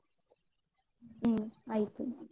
ಹ್ಮ್ ಆಯ್ತು.